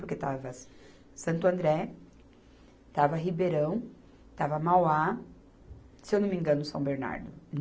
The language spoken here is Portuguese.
Porque estava Santo André, estava Ribeirão, estava Mauá, se eu não me engano, São Bernardo.